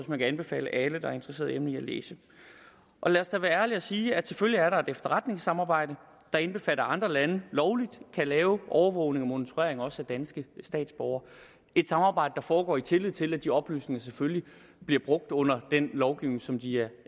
man kan anbefale alle der er interesseret i emnet at læse lad os da være ærlige og sige at selvfølgelig er der et efterretningssamarbejde der indbefatter andre lande lovligt kan laves overvågning og monitorering også af danske statsborgere et samarbejde der foregår i tillid til at de oplysninger selvfølgelig bliver brugt under den lovgivning som de er